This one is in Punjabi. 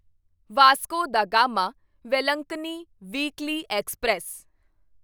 Vasco da Gama Velankanni weekly express